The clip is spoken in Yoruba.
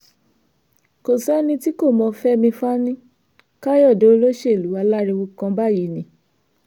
kò sẹ́ni tí kò mọ fẹ́mi fani-kàyọ̀dé olóṣèlú aláriwo kan báyìí ni